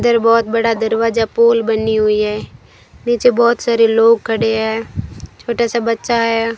दर बहोत बड़ा दरवाजा पोल बनी हुई है नीचे बहोत सारे लोग खड़े हैं छोटा सा बच्चा है।